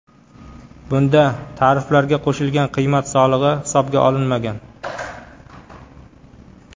Bunda tariflarga qo‘shilgan qiymat solig‘i hisobga olinmagan.